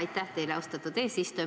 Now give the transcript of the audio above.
Aitäh teile, austatud eesistuja!